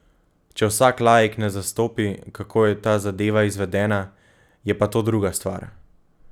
Če vsak laik ne zastopi, kako je ta zadeva izvedena, je pa to druga stvar.